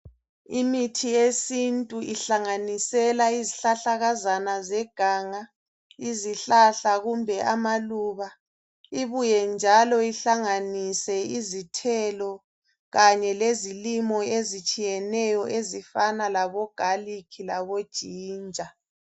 Imithi yesintu ihlanganisela izihlahlakazana zeganga, izihlahla kumbe amaluba ibuye ihlanganise njalo izithelo kanye lezilimo ezitshiyeneyo ezifana labogarlic laboginger.